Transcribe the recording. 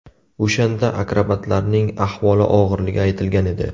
O‘shanda akrobatlarning ahvoli og‘irligi aytilgan edi.